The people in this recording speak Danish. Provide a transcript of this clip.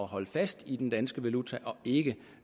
holde fast i den danske valuta og ikke